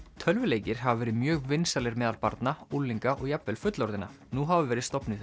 tölvuleikir hafa verið mjög vinsælir meðal barna unglinga og jafnvel fullorðinna nú hafa verið stofnuð